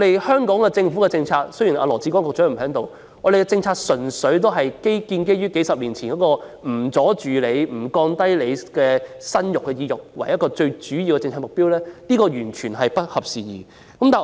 香港政府的政策——雖然羅致光局長不在席——純粹建基於數十年前的政策目標，不阻礙市民生育，也不降低市民的生育意欲，但已完全不合時宜。